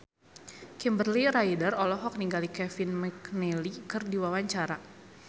Kimberly Ryder olohok ningali Kevin McNally keur diwawancara